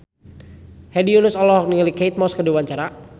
Hedi Yunus olohok ningali Kate Moss keur diwawancara